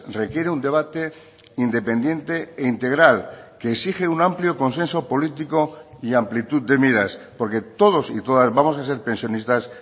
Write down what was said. requiere un debate independiente e integral que exige un amplio consenso político y amplitud de miras porque todos y todas vamos a ser pensionistas